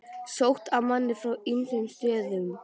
Sótt að manni frá ýmsum stöðum.